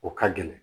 O ka gɛlɛn